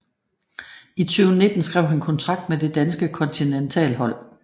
I 2019 skrev han kontrakt med det danske kontinentalhold